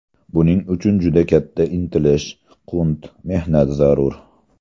Buning uchun juda katta intilish, qunt, mehnat zarur.